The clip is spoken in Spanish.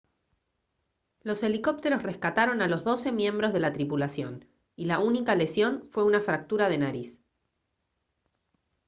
los helicópteros rescataron a los doce miembros de la tripulación y la única lesión fue una fractura de nariz